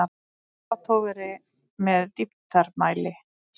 Tappatogari með dýptarmæli.